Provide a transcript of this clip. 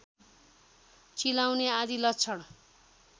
चिलाउने आदि लक्षण